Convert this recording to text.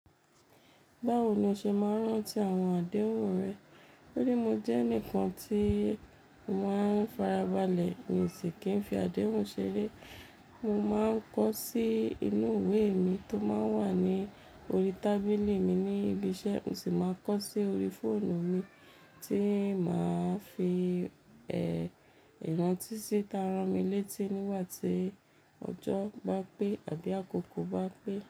Báwo ni o ṣe máa ń rántí àwọn àdéhùn rẹ? mÓ rí, mo jẹ́ ẹnìkan tíì máa ń farabalẹ̀ nsìn kì í fi àdéhùn ṣeré. Mo máa ń kọ sí inú ìwé mi tó máa ń wà ní orí tábìlì mi ní ibi iṣẹ́, mo sì máa ń kọ sí orí fóònù mi tíì máa fi ẹ̀ ìrántí síta rán mi létí nígbà tí ọjọ́ bá pé àbí àkókò bá pé.